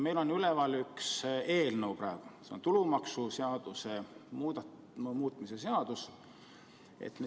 Meil on praegu üleval üks eelnõu, see on tulumaksuseaduse muutmise seadus.